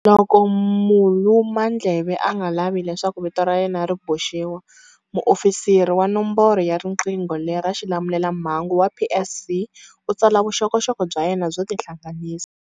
Loko mulumandleve a nga lavi leswaku vito ra yena ri boxiwa, muofisiri wa nomboro ya riqingho lera xilamulelamhangu wa PSC u tsala vuxokoxoko bya yena byo tihlanganisa.